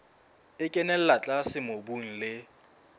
e kenella tlase mobung le